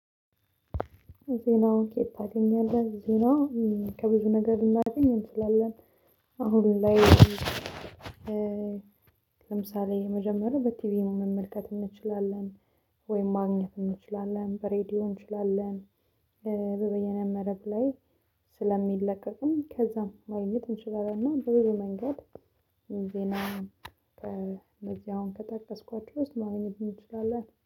ዜናውን የት ታገኛለህ ዜናው ከብዙ ነገር ልናደኝ እንችላለን አሁን ላይ? ለምሳሌ የመጀመሪያው በቲቪ መመልከት እንችላለን ወይም ማግኘት እንችላለን በሬዲዮ እንችላለን። በየነ መረብ ላይ። ከዛም መልእክት እንችላለን እና በብዙ መንገድ ዜና። እነዚህ አሁን ከጠቀስኳቸው ውስጥ ማግኘት እንችላለን